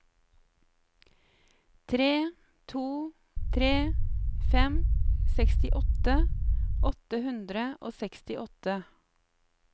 tre to tre fem sekstiåtte åtte hundre og sekstiåtte